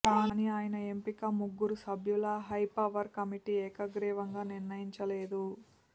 కానీ ఆయన ఎంపిక ముగ్గురు సభ్యుల హైపవర్ కమిటీ ఏకగ్రీవంగా నిర్ణయించలేదు